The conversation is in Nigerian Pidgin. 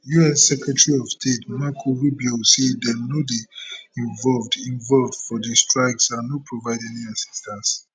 us secretary of state marco rubio say dem no dey involved involved for di strikes and no provide any assistance